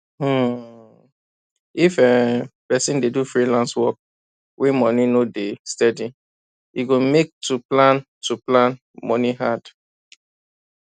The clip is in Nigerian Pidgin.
um if um person dey do freelance work wey money no dey steady e go make to plan to plan moni hard